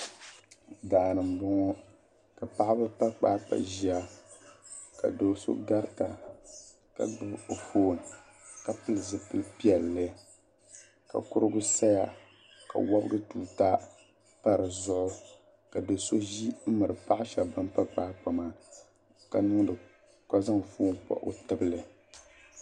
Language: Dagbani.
Daani n boŋo ka paɣaba pa kpaakpa ʒiya ka do so garita ka gbubi o foon ka pili zipili piɛlli ka kurigu saya ka wibigi tuuta pa dizuɣu ka do shab ʒi n miri paɣa shab bin pa kpaakpa maa ka zaŋ foon kpa o tibili